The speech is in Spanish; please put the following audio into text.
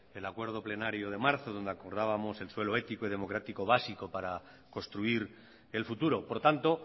el acuerdo plenario de marzo donde acordábamos el suelo ético y democrático básico para construir el futuro por tanto